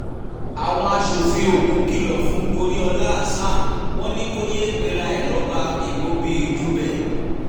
àwọn aṣòfin ogun kìlọ̀ fún goriola hasan wọn ni kò yéé pera ẹ̀ lọ́ba imobi-ijubẹ